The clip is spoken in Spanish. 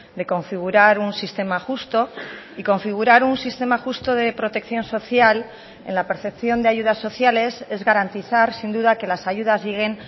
de configurar un sistema justo y configurar un sistema justo de protección social en la percepción de ayudas sociales es garantizar sin duda que las ayudas lleguen